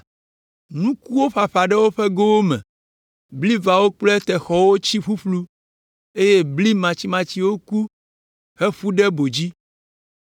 Nukuwo ƒaƒã ɖe woƒe gowo me, blivawo kple texɔwo tsi ƒuƒlu eye bli matsimatsiwo ku, heƒu ɖe bo dzi.